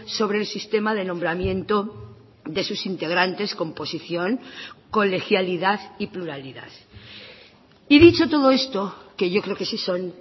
sobre el sistema de nombramiento de sus integrantes composición colegialidad y pluralidad y dicho todo esto que yo creo que sí son